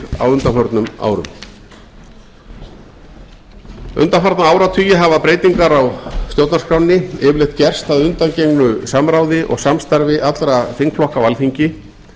á undanförnum árum undanfarna áratugi hafa breytingar á stjórnarskránni yfirleitt gerst að undangengnu samráði og samstarfi allra þingflokka á alþingi